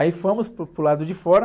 Aí fomos para o, para o lado de fora.